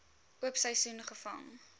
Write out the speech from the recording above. oop seisoen gevang